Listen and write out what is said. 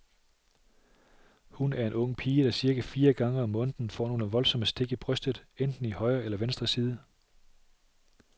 Hun er en ung pige, der cirka fire gange om måneden får nogle voldsomme stik i brystet, enten i højre eller venstre side.